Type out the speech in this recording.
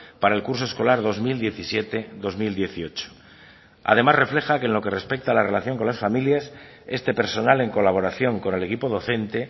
para el curso escolar dos mil diecisiete dos mil dieciocho además refleja que en lo que respecta la relación con las familias este personal en colaboración con el equipo docente